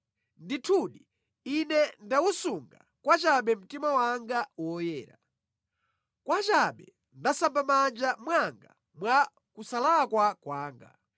Ndithudi ine ndawusunga pachabe mtima wanga woyera; pachabe ndasamba mʼmanja mwanga mwa kusalakwa kwanga.